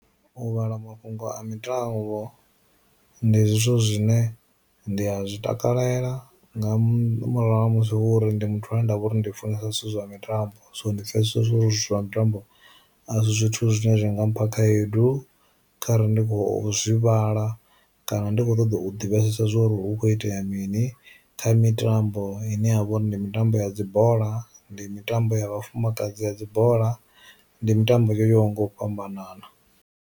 U vhala mafhungo a mitambo, ndi zwithu zwine ndi a zwi takalela nga murahu ha musi uri ndi muthu ane ndavha uri ndi funesa zwithu zwa mitambo. So ndi pfhe zwithu zwo uri zwithu zwa mitambo a zwi zwithu zwine zwa nga mpha khaedu kharali ndi khou zwi vhala, kana ndi kho ṱoḓa u divhesesa zwori hu kho itea mini kha mitambo ine ya vha uri ndi mitambo ya dzi bola, ndi mitambo ya vhafumakadzi ya dzi bola, ndi mitambo yo yaho nga u fhambanana.